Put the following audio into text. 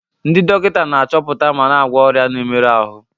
Ndị dọkịta na-achọpụta ma na-agwọ ọrịa na mmerụ ahụ.